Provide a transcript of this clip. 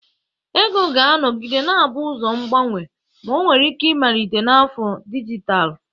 Ego ga-anọgide na-abụ ụzọ mgbanwe, ma ọ nwere ike ịmalite na afọ dijitalụ.